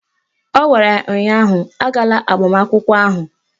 Ọ gwara ya ụnyaahụ "Agala agbamakwụkwọ ahụ"!